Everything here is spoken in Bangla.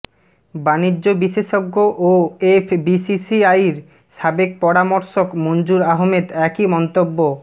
বাণিজ্য বিশেষজ্ঞ ও এফবিসিসিআইর সাবেক পরামর্শক মঞ্জুর আহমেদ একই মন্তব্য